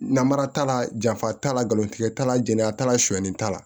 Namara t'a la janfa t'a la nkalon tigɛ t'a la jana t'a la suɲɛni t'a la